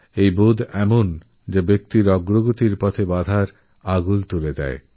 এই অহঙ্কার এমন ভাবনা যা ব্যক্তির প্রগতির পথে বাধা হয়েদাঁড়ায়